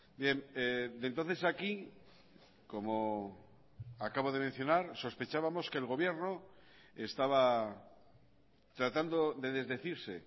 bien de entonces a aquí como acabo de mencionar sospechábamos que el gobierno estaba tratando de desdecirse